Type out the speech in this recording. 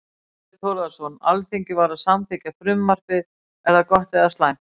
Þorbjörn Þórðarson: Alþingi var að samþykkja frumvarpið, er það gott eða slæmt?